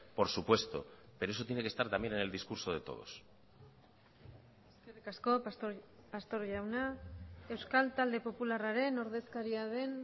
por supuesto pero eso tiene que estar también en el discurso de todos eskerrik asko pastor jauna euskal talde popularraren ordezkaria den